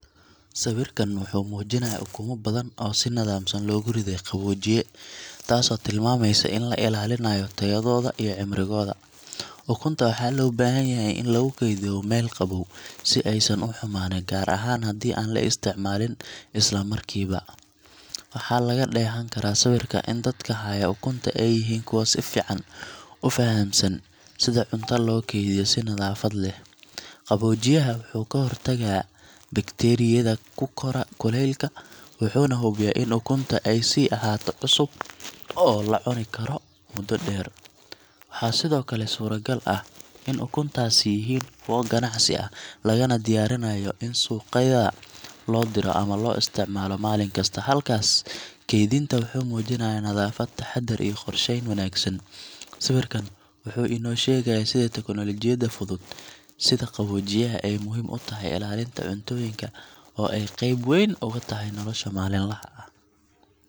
Sawirkan wuxuu muujinayaa ukumo badan oo si nidaamsan loogu riday qaboojiye, taasoo tilmaamaysa in la ilaalinayo tayadooda iyo cimrigooda. Ukunta waxaa loo baahan yahay in lagu kaydiyo meel qabow si aysan u xumaanin, gaar ahaan haddii aan la isticmaalin isla markiiba. Waxaa laga dheehan karaa sawirka in dadka haya ukunta ay yihiin kuwo si fiican u fahamsan sida cuntada loo kaydiyo si nadaafad leh. Qaboojiyaha wuxuu ka hortagaa bakteeriyada ku kora kuleylka, wuxuuna hubiyaa in ukunta ay sii ahaato cusub oo la cuni karo muddo dheer. Waxaa sidoo kale suuragal ah in ukuntaasi yihiin kuwo ganacsi ah, lagana diyaarinayo in suuqyada loo diro ama loo isticmaalo maalin kasta. Habkaas kaydinta wuxuu muujinayaa nadaafad, taxaddar, iyo qorsheyn wanaagsan. Sawirkan wuxuu inoo sheegayaa sida tiknoolajiyadda fudud, sida qaboojiyaha, ay muhiim u tahay ilaalinta cuntooyinka oo ay qayb weyn uga tahay nolosha maalinlaha ah.